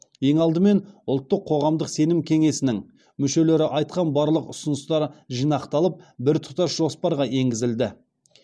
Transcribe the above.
ең алдымен ұлттық қоғамдық сенім кеңесінің мүшелері айтқан барлық ұсыныстар жинақталып біртұтас жоспарға енгізілді